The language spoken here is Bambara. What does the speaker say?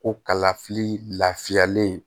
Ko kalafili lafiyalen